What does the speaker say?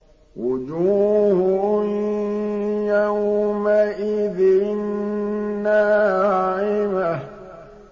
وُجُوهٌ يَوْمَئِذٍ نَّاعِمَةٌ